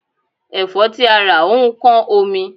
Ẹ̀fọ́ tí a rà ó ń kán omi.